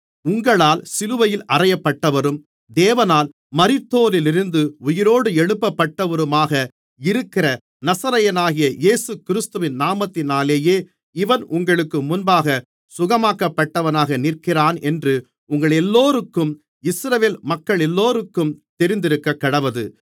உங்களால் சிலுவையில் அறையப்பட்டவரும் தேவனால் மரித்தோரிலிருந்து உயிரோடு எழுப்பப்பட்டவருமாக இருக்கிற நசரேயனாகிய இயேசுகிறிஸ்துவின் நாமத்தினாலேயே இவன் உங்களுக்கு முன்பாகச் சுகமாக்கப்பட்டவனாக நிற்கிறானென்று உங்களெல்லோருக்கும் இஸ்ரவேல் மக்களெல்லோருக்கும் தெரிந்திருக்கக்கடவது